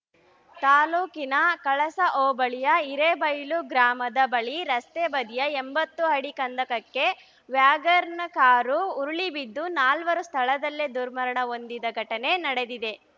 ತಾಲೂಕಿನ ಕಳಸ ಹೋಬಳಿಯ ಹಿರೇಬೈಲು ಗ್ರಾಮದ ಬಳಿ ರಸ್ತೆ ಬದಿಯ ಎಂಬತ್ತು ಅಡಿ ಕಂದಕಕ್ಕೆ ವ್ಯಾಗರ್ನ ಕಾರು ಉರುಳಿಬಿದ್ದು ನಾಲ್ವರು ಸ್ಥಳದಲ್ಲೇ ದುರ್ಮರಣ ಹೊಂದಿದ ಘಟನೆ ನಡೆದಿದೆ